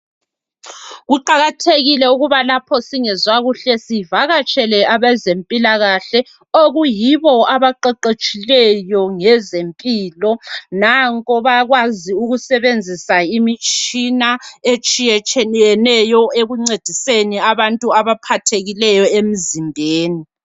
Kuqakathekile ukuba lapho singezwa kuhle sivakatshele abezempilakahle okuyibo abaqeqetshileyo ngezempilo nanko bayakwazi ukusebenzisa imitshina etshiyetshiyeneyo ekuncediseni abantu abaphathekileyo emzimbeni.